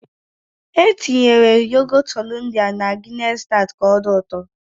E tinyere yogọt Hollandia na Gịness staut ka ọ dị ụtọ.